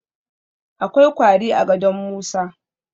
Akwai kwari a gadon Musa